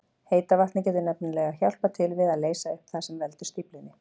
Heita vatnið getur nefnilega hjálpað til við að leysa upp það sem veldur stíflunni.